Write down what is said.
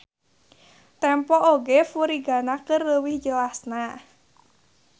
Tempo oge furigana keur leuwih jelasna.